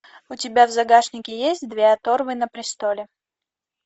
у тебя в загашнике есть две оторвы на престоле